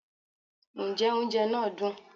njẹ oúnjẹ naa dún